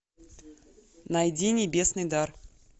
найди небесный дар